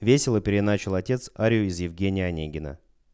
весело переиначил отец арию из евгения онегина